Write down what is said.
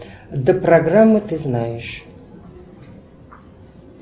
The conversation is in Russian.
до программы ты знаешь